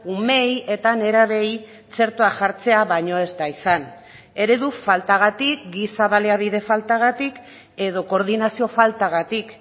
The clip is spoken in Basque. umeei eta nerabeei txertoa jartzea baino ez da izan eredu faltagatik giza baliabide faltagatik edo koordinazio faltagatik